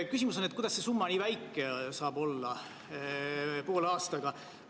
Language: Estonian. Küsimus on, kuidas see summa nii väike saab olla poole aasta kohta.